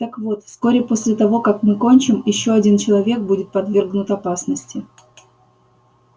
так вот вскоре после того как мы кончим ещё один человек будет подвергнут опасности